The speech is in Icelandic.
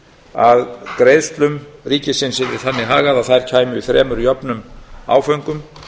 að greiðslum ríkisins yrði þannig hagað að þær kæmu í þremur jöfnum áföngum